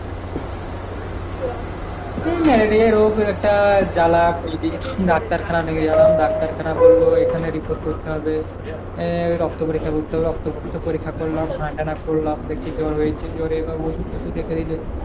হ্যাঁ ম্যালেরিয়া রোগ একটা জ্বালা ঐ যে ডাক্তার খানা নিয়ে গেলাম ডাক্তার খানায় বলল এখানে report করতে হবে আহ রক্ত পরিক্ষা করতে হবে রক্ত ফক্ত পরিক্ষা করলাম করলাম বেশি জ্বর হয়েছে জ্বরে এবার ওষুধ টোশুধ লেখিলে